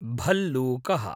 भल्लूकः